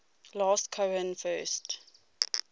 last cohen first